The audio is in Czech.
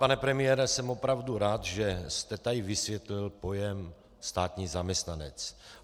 Pane premiére, jsem opravdu rád, že jste tady vysvětlil pojem státní zaměstnanec.